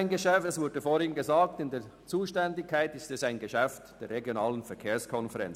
Wie vorhin erwähnt worden ist, fällt dieses Geschäft in die Zuständigkeit der RVK.